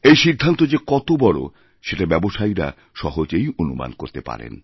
এই সিদ্ধান্ত যেকত বড় সেটা ব্যবসায়ীরা সহজেই অনুমান করতে পারেন